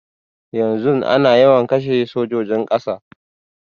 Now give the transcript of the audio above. Yanzun ana yawan kashe sojojin ƙasa